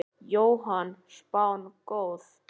Jóhann: Spáin góð?